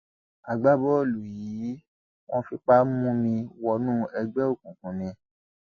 agbábọọlù yìí wọn fipá mú mi wọnú ẹgbẹ òkùnkùn ni